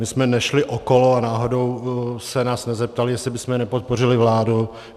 My jsme nešli okolo a náhodou se nás nezeptali, jestli bychom nepodpořili vládu.